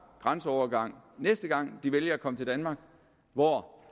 grænseovergang næste gang han vælger at komme til danmark hvor